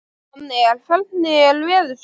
Annel, hvernig er veðurspáin?